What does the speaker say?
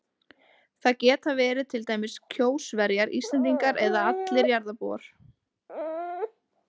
Það geta verið til dæmis Kjósverjar, Íslendingar eða allir jarðarbúar.